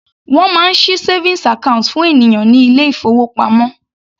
Wọ́n máa ṣí savings account fún ènìyàn ní ilé ìfowópamọ́.